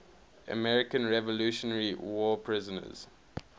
american revolutionary war prisoners